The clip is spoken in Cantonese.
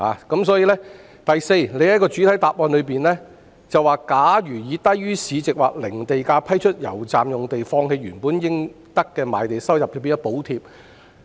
第四，局長在主體答覆中提到，假如以低於市值或零地價批出油站用地，放棄了原本應得的賣地收入，這變相是補貼車主。